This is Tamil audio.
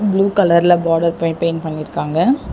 ப்ளூ கலர்ல பார்டர் பெ பெயிண் பண்ணிருக்காங்க.